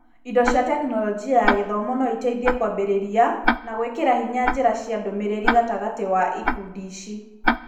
Indo cia Tekinoronjĩ ya Gĩthomo no ĩteithĩke kũambirĩria na gũĩkĩra hinya njĩra cia ndũmĩrĩri gatagatĩ wa ikundi ici.